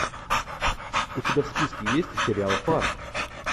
у тебя в списке есть сериал фарт